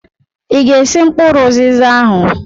Ịga-esi mkpụrụ ụzịza ahụ!